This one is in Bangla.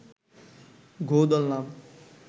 গোঁ ধরলাম